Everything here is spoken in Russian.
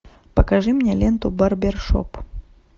покажи мне ленту барбер шоп